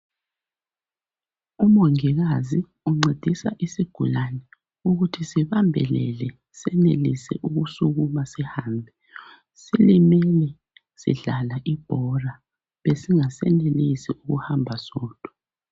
Umongikazi uncedisa isigulane ukuthi sibambelele. Senelise ukusukuma, sihambe. Silimele, sidlala ibhora. Besingasenelisi ukuthi sihambe sodwa.